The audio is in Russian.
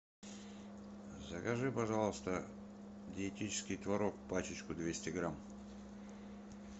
закажи пожалуйста диетический творог пачечку двести грамм